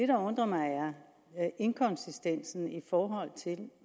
der undrer mig er inkonsistensen i forhold til